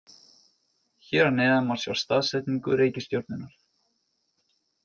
Hér að neðan má sjá staðsetningu reikistjörnunnar.